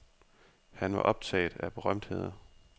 Han var optaget af berømtheder.